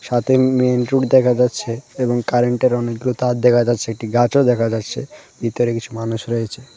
সাথে main road দেখা যাচ্ছে এবং কারেন্টের -এর অনেকগুলো তার দেখা যাচ্ছে একটি গাছও দেখা যাচ্ছে বিতরে কিছু মানুষ রয়েছে।